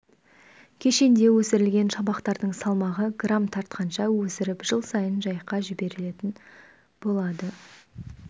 кешенде өсірілген шабақтардың салмағы грамм тартқанша өсіріп жыл сайын жайыққа жіберетін болады